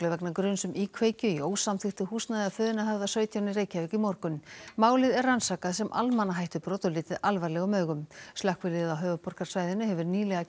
vegna gruns um íkveikju í ósamþykktu húsnæði að Funahöfða sautján í Reykjavík í morgun málið er rannsakað sem almannahættubrot og litið alvarlegum augum slökkviliðið á höfuðborgarsvæðinu hefur nýlega